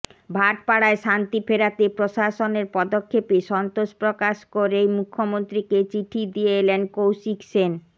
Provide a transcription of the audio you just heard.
ভাটপাড়ায় শান্তি ফেরাতে প্রশাসনের পদক্ষেপে সন্তোষ প্রকাশ করে মুখ্যমন্ত্রীকে চিঠি দিয়ে এলেন কৌশিক সেন